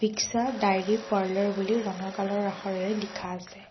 Bikasha dairy parlour বুলি ৰঙা কালাৰৰ আখৰেৰে লিখা আছে।